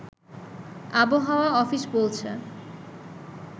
আবহাওয়া অফিস বলছে